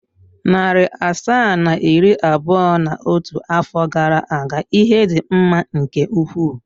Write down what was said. Narị asaa na iri abụọ na otu afọ gara aga ihe dị mma nke ukwuu.